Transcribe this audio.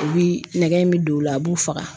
U bi nɛgɛ in bi don u la a b'u faga.